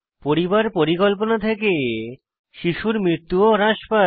পরিবার পরিকল্পনা থেকে শিশুর মৃত্যু ও হ্রাস পায়